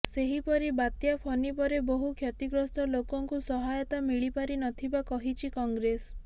ସେହିପରି ବାତ୍ୟା ଫନି ପରେ ବହୁ କ୍ଷତିଗ୍ରସ୍ତ ଲୋକଙ୍କୁ ସହାୟତା ମିଳିପାରିନଥିବା କହିଛି କଂଗ୍ରେସ